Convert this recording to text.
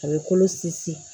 A bɛ kolo sinsin